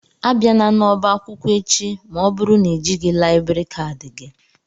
Abiana n'ọba akwụkwọ echi ma ọ bụrụ na ị jighị laịbrị kadi gị!